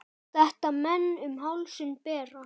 Þetta menn um hálsinn bera.